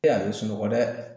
E a be sunɔgɔ dɛ